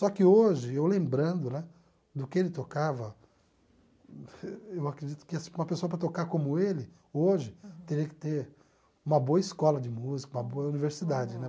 Só que hoje, eu lembrando né do que ele tocava, eu acredito que assim uma pessoa para tocar como ele, hoje, teria que ter uma boa escola de música, uma boa universidade, né?